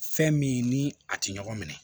Fɛn min ni a tɛ ɲɔgɔn minɛ